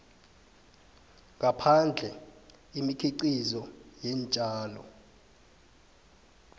ngaphandle imikhiqizo yeentjalo